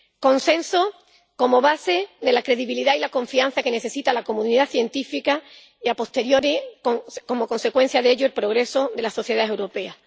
Consenso como base de la credibilidad y la confianza que necesita la comunidad científica y, a posteriori como consecuencia de ello, el progreso de la sociedad europea.